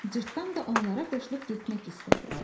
Cırtdan da onlara qoşulub getmək istədi.